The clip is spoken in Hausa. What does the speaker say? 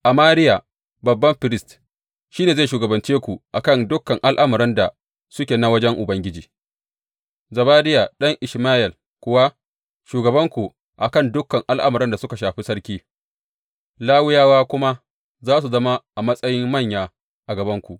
Amariya, babban firist, shi ne zai shugabance ku a kan dukan al’amuran da suke na wajen Ubangiji, Zebadiya ɗan Ishmayel kuwa, shugabanku a kan dukan al’amuran da suka shafi sarki, Lawiyawa kuma za su zama a matsayin manya a gabanku.